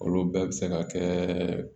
Olu bɛɛ bɛ se ka kɛ